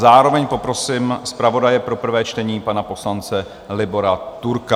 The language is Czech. Zároveň poprosím zpravodaje pro prvé čtení, pana poslance Libora Turka.